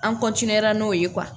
An n'o ye